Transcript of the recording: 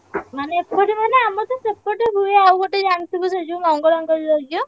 ମାନେ ଏପଟେ ମାନେ ଆମରତ ସେପଟେ ହୁଏ ଆଉ ଗୋଟେ ଜାଣି~ ଥିବୁ~ ସେ ଯୋଉ ମଙ୍ଗଳାଙ୍କ ଯଜ୍ଞ?